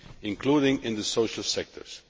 including in the social sectors.